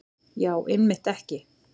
Já, einmitt ekki.